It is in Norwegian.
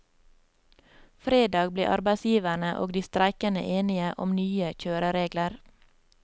Fredag ble arbeidsgiverne og de streikende enige om nye kjøreregler.